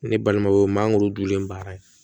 Ne balimaw mangoro dunlen baara ye